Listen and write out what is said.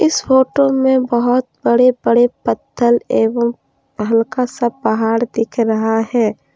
इस फोटो में बहुत बड़े बड़े पत्थल एवं हल्का सा पहाड़ दिख रहा है।